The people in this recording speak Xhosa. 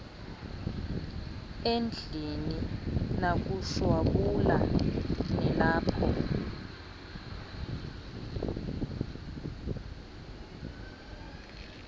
endlini nakushwabula nilapho